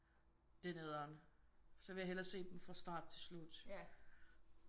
Det er nederen så vil jeg hellere se dem fra start til slut